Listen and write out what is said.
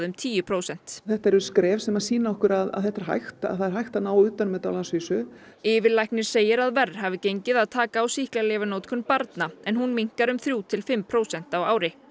tíu prósent þetta eru skref sem sýna okkur að þetta er hægt það er hægt að ná utan um þetta á landsvísu yfirlæknir segir að verr hafi gengið að taka á sýklalyfjanotkun barna en hún minnkar um þrjú til fimm prósent á ári